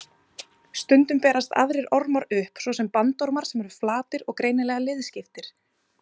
Stundum berast aðrir ormar upp, svo sem bandormar sem eru flatir og greinilega liðskiptir.